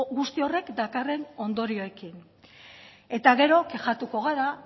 guzti horrek dakarren ondorioekin eta gero kexatuko gara